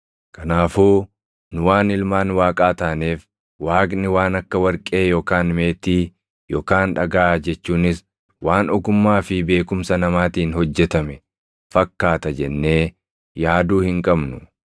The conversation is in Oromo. “Kanaafuu nu waan ilmaan Waaqaa taaneef Waaqni waan akka warqee yookaan meetii yookaan dhagaa jechuunis waan ogummaa fi beekumsa namaatiin hojjetame fakkaata jennee yaaduu hin qabnu.